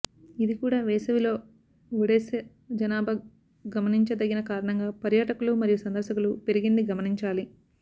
ఇది కూడా వేసవిలో ఒడెస జనాభా గమనించదగిన కారణంగా పర్యాటకులు మరియు సందర్శకులు పెరిగింది గమనించాలి